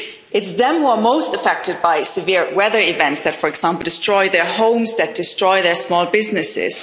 It's them who are most affected by severe weather events that, for example, destroy their homes and their small businesses.